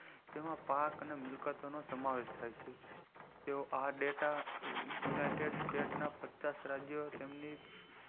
જેમાં પાક અને મિલકત નો સમાવેશ થાય છે જો આ dataunited state ન પચાસ રાજ્યો તેમની